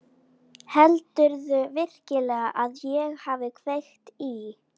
Heldurðu virkilega að ég hafi kveikt í?